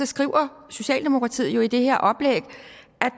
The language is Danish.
skriver socialdemokratiet jo i det her oplæg